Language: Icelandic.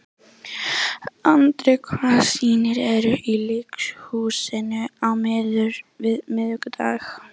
Andrea, hvaða sýningar eru í leikhúsinu á miðvikudaginn?